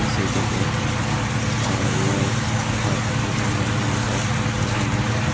यह city cafe है और यह हब --